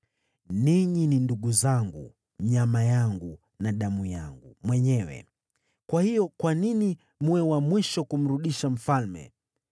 Ninyi ni ndugu zangu, nyama yangu na damu yangu mwenyewe. Kwa hiyo kwa nini mwe wa mwisho kumrudisha mfalme?’